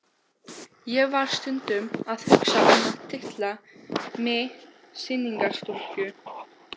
Ég var stundum að hugsa um að titla mig sýningarstúlku.